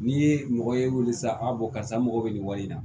N'i ye mɔgɔ ye wele sisan karisa mɔgɔ bɛ nin wale in na